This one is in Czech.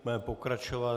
Budeme pokračovat.